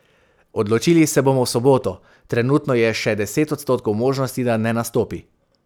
Odločili se bomo v soboto, trenutno je še deset odstotkov možnosti, da ne nastopi.